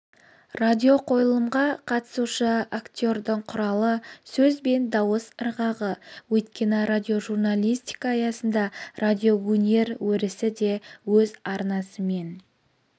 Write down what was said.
радиоқойылымға қатысушы актердің құралы сөз бен дауыс ырғағы өйткені радиожурналистика аясында радиоөнер өрісі де өз арнасымен